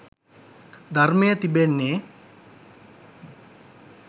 ධර්මය තිබෙන්නේ